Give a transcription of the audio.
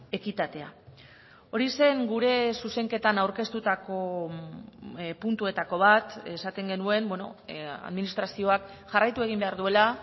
ekitatea hori zen gure zuzenketan aurkeztutako puntuetako bat esaten genuen administrazioak jarraitu egin behar duela